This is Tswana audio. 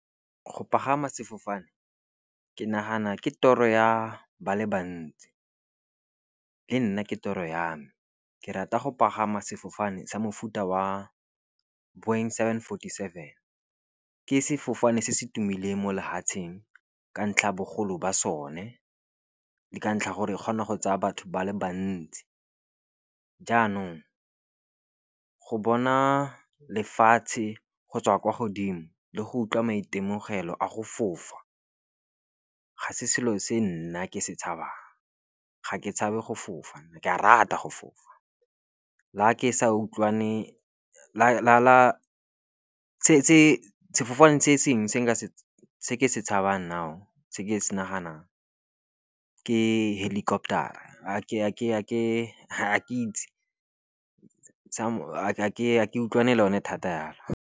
Go pagama sefofane ke nagana ke toro ya ba le bantsi, le nna ke toro ya me. Ke rata go pagama sefofane sa mofuta wa point seven forty-seven, ke sefofane se se tumileng mo lefatseng ka ntlha bogolo ba sone. Ke ka ntlha gore e kgona go tsaya batho ba le bantsi. Jaanong go bona lefatshe go tswa kwa godimo le go utlwa maitemogelo a go fofa ga se selo se nna ke se tshabang. Ga ke tshabe go fofa, ke a rata go fofa sefofane se sengwe se ke se tshabang, now se ke se naganang ke helicopter-a , ga ke itse , ga ke utlwane le yone thata yalo.